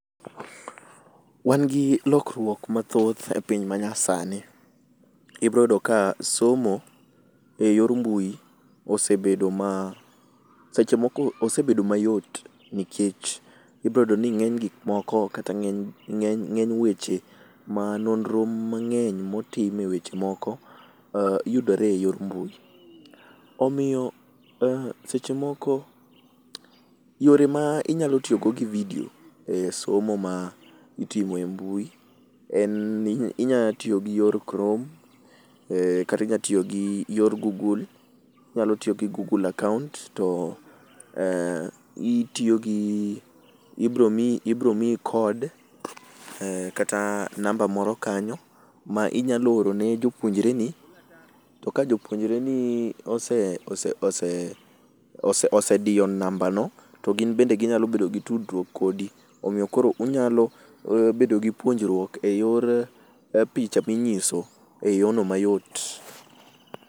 Wan gi lokruok mathoth e piny manyasani. Ibro yudo ka somo e yor mbui osebedo ma seche moko, osebedo mayot nikech ibro yudo ni ngeny gik moko kata ngeny weche ma nonro mangeny motime weche moko yudore e yor mbui. Omiyo seche moko yore ma inyalo tiyo go gi vidio e somo ma itimo e mbui en ni ni inya tiyo gi yor chrome kata inya tiyo gi yor google akaunt to itiyo gi ibro miyo code kata namba moro kayo ma inya oro ne jopuonjreni to ka jopuonjre ni osediyo namba no to gin bende ginyalo bedo gi tudruok kodi omiyo koro unyalo bedo gi puonjruok eyor picha minyiso eyorno mayot